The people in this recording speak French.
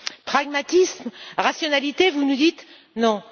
Pragmatisme, rationalité, vous nous dites. Non!